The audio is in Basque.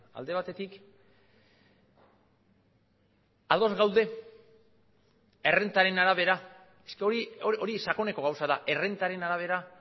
alde batetik ados gaude errentaren arabera hori sakoneko gauza da errentaren arabera